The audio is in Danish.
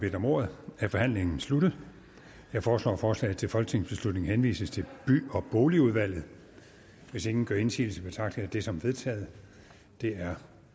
bedt om ordet er forhandlingen sluttet jeg foreslår at forslaget til folketingsbeslutning henvises til by og boligudvalget hvis ingen gør indsigelse betragter jeg det som vedtaget det er